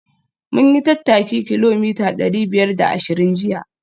Mun yi tattaki kilomita dari biyar da ashirin jiya